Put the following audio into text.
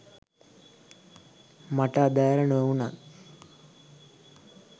මට අදාළ නොවුණත්